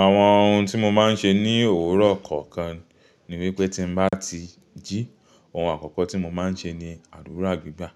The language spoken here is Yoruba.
Àwọn ohun tí mo máa ń ṣe ní òwúrọ̀ kọ̀ọ̀kan ni wípé tí ń bá ti jí, ohun àkọ́kọ́ tí mo máa ń ṣe ni àdúrà gbígbà.